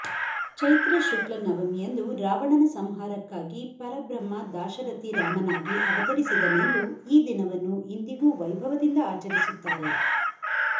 ಚೈತ್ರ ಶುಕ್ಲ ನವಮಿಯಂದು ರಾವಣನ ಸಂಹಾರಕ್ಕಾಗಿ ಪರಬ್ರಹ್ಮ ದಾಶರಥಿ ರಾಮನಾಗಿ ಅವತರಿಸಿದನೆಂದು ಈ ದಿನವನ್ನು ಇಂದಿಗೂ ವೈಭವದಿಂದ ಆಚರಿಸುತ್ತಾರೆ